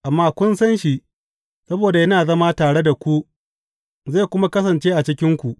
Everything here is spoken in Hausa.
Amma kun san shi, saboda yana zama tare da ku zai kuma kasance a cikinku.